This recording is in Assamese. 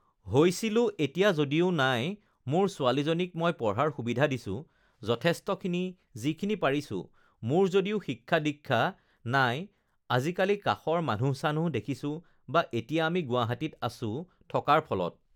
হৈছিলোঁ এতিয়া যদিও নাই, মোৰ ছোৱালীজনীক মই পঢ়াৰ সুবিধা দিছোঁ যথেষ্টখিনি যিখিনি পাৰিছোঁ মোৰ যদিও শিক্ষা দীক্ষা নাই আজিকালি কাষৰ মানুহ-চানুহ দেখিছোঁ বা এতিয়া আমি গুৱাহাটীত আছোঁ থকাৰ ফলত